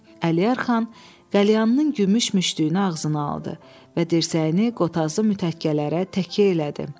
Əliər xan qəlyanın gümüş müştüyünü ağzına aldı və dirsəyini qotazlı mütəkkələrə təkə elədi.